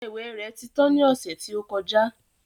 Ọsẹ ìwẹ̀ rẹ̀ ti tán ní ọ̀sẹ̀ tí ó kọjá